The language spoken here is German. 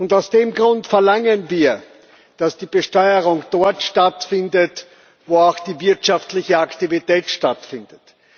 Aus dem Grund verlangen wir, dass die Besteuerung dort stattfindet, wo auch die wirtschaftliche Aktivität stattfindet.